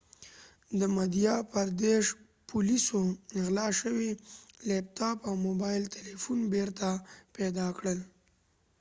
د مدهیا پردیش پولیسو غلا شوی لیپتاپ او موبایل تلیفون بیرته پیدا کړل